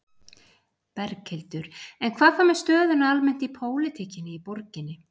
Berghildur: En hvað þá með stöðuna almennt í pólitíkinni í borginni?